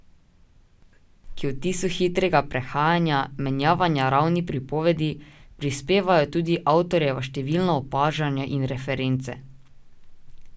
K vtisu hitrega prehajanja, menjavanja ravni pripovedi, prispevajo tudi avtorjeva številna opažanja in reference.